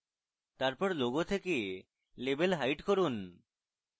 তারপর logo then label hide করুন